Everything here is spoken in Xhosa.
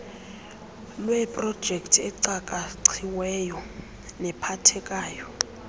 lweeprojekthi ecakaciweyo nephathekayo